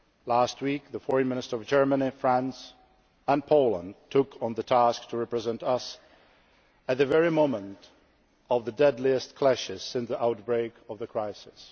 Last week, the Foreign Ministers of Germany, France and Poland took on the task of representing us, at the very moment of the deadliest clashes since the outbreak of the crisis.